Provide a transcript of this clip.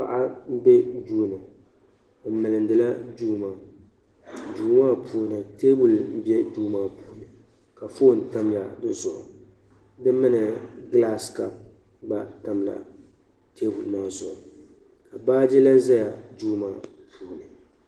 Paɣa m-be duu ni o milindila duu maa duu maa puuni teebuli be duu maa puuni ka foon tamya di zuɣu mini gilasi kapu gba tamla teebuli maa zuɣu ka baaji lan zaya duu maa puuni.